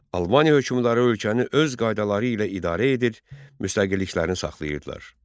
Albaniya hökmdarı ölkəni öz qaydaları ilə idarə edir, müstəqilliklərini saxlayırdılar.